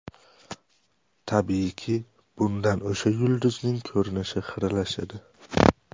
Tabiiyki, bundan o‘sha yulduzning ko‘rinishi xiralashadi.